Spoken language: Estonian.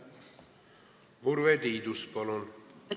Urve Tiidus, palun!